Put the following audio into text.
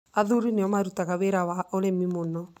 Athuri nĩo marutaga wĩra wa ũrĩmi mũno.